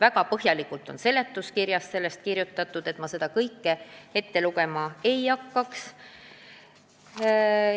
Väga põhjalikult on sellest ka seletuskirjas kirjutatud, ma seda ette lugema ei hakka.